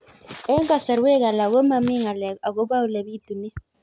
Eng' kasarwek alak ko mami ng'alek akopo ole pitunee